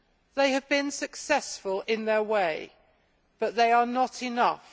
They have been successful in their way but they are not enough.